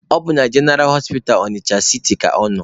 Ọ bụ jeneraa hospital Ọnịcha siti ka ọ nọ.